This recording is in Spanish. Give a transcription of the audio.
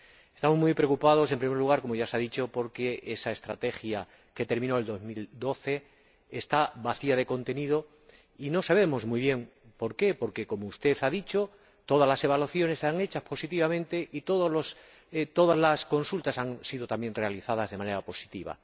Estamos muy preocupados, en primer lugar, como ya se ha dicho, porque esa estrategia, que terminó en 2012, está vacía de contenido y no sabemos muy bien por qué, porque, como usted ha dicho, todas las evaluaciones están hechas positivamente y todas las consultas también han sido realizadas de manera positiva.